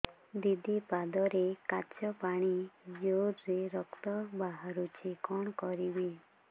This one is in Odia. ଦିଦି ପାଦରେ କାଚ ପଶି ଜୋରରେ ରକ୍ତ ବାହାରୁଛି କଣ କରିଵି